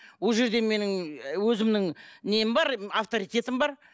ол жерде менің өзімнің нем бар авторитетім бар